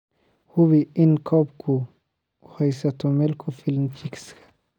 Hubi in coop-gu u haysto meel ku filan chicks.